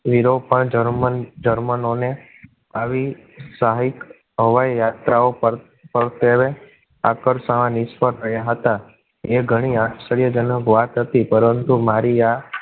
યુરોપમાં જર્મની જર્મનો ને આવી સાહિબ હવાઈ યાત્રાઓ પર સેવે આકર્ષવા માં નિષ્ફળ રહ્યા હતા. એ ઘણી આશ્ચર્યજનક વાત હતી, પરંતુ મારી આ